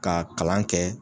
Ka kalan kɛ